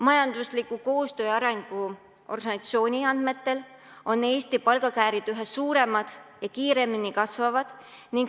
Majandusliku Koostöö ja Arengu Organisatsiooni andmetel on Eesti palgakäärid üha suuremad ja kiiremini kasvavad.